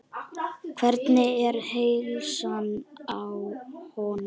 Hvernig er heilsan á honum?